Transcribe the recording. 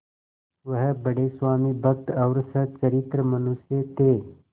वह बड़े स्वामिभक्त और सच्चरित्र मनुष्य थे